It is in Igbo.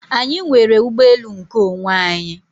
Anyị nwere ụgbọelu nkeonwe anyị.